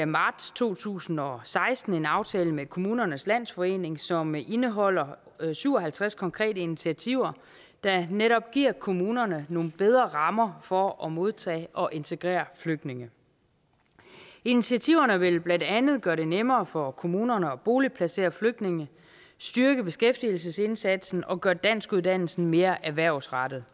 marts to tusind og seksten en aftale med kommunernes landsforening som indeholder syv og halvtreds konkrete initiativer der netop giver kommunerne nogle bedre rammer for at modtage og integrere flygtninge initiativerne vil blandt andet gøre det nemmere for kommunerne at boligplacere flygtninge styrke beskæftigelsesindsatsen og gøre danskuddannelsen mere erhvervsrettet